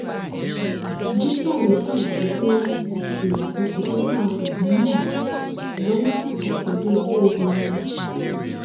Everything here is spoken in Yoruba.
búṣárì ṣàlàyé pé ìyàtọ ti dé bá obìnrin náà lọwọ àsìkò tó dé iléèwé ọhún